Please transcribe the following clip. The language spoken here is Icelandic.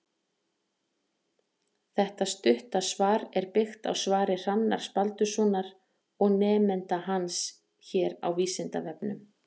Þetta stutta svar er byggt á svari Hrannars Baldurssonar og nemenda hans hér á Vísindavefnum.